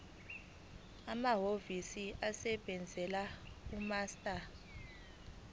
amahhovisi asebenzela umaster